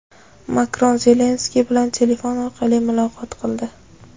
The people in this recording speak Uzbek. Makron Zelenskiy bilan telefon orqali muloqot qildi.